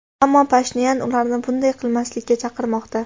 ammo Pashinyan ularni bunday qilmaslikka chaqirmoqda.